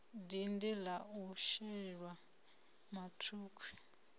dindi la u shelwa mathukhwi